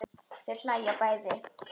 Þau hlæja bæði.